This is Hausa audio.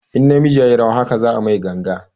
In na miji yayi rawa haka za a mai ganga